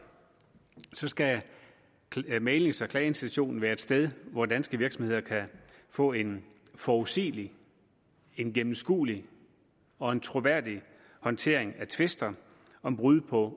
skal mæglings og klageinstitutionen være et sted hvor danske virksomheder kan få en forudsigelig en gennemskuelig og en troværdig håndtering af tvister om brud på